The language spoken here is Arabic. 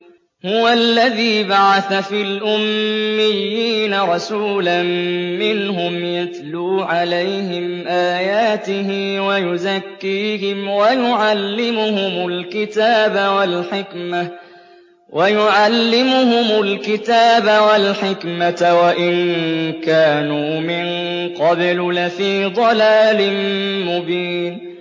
هُوَ الَّذِي بَعَثَ فِي الْأُمِّيِّينَ رَسُولًا مِّنْهُمْ يَتْلُو عَلَيْهِمْ آيَاتِهِ وَيُزَكِّيهِمْ وَيُعَلِّمُهُمُ الْكِتَابَ وَالْحِكْمَةَ وَإِن كَانُوا مِن قَبْلُ لَفِي ضَلَالٍ مُّبِينٍ